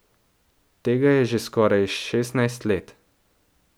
Tega je že skoraj šestnajst let.